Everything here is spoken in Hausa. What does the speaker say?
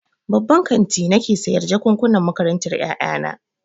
Babban kanti nake sayan jakukkunan makarantar ƴaƴana.